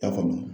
Ta faamu